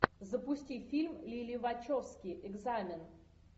запусти фильм лили вачовски экзамен